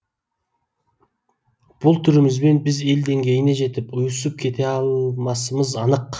бұл түрімізбен біз ел деңгейіне жетіп ұйысып кете алмасымыз анық